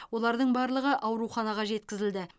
олардың барлығы ауруханаға жеткізілді